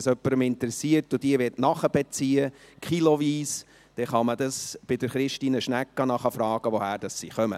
Wenn es jemanden interessiert und er sie nachbeziehen möchte, kiloweise, so kann man bei Christine Schnegg nachfragen, woher sie kommen.